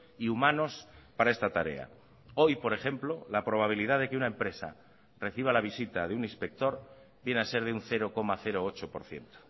y humanos para esta tarea hoy por ejemplo la probabilidad de que una empresa reciba la visita de un inspector viene a ser de un cero coma ocho por ciento